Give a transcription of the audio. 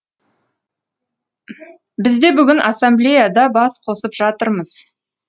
біз де бүгін ассамблеяда бас қосып жатырмыз